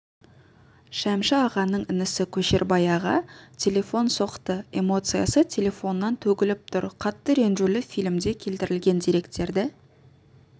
шәмші ағаның інісі көшербай аға телефон соқты эмоциясы телефоннан төгіліп тұр қатты ренжулі фильмде келтірілген деректерді